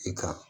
I ka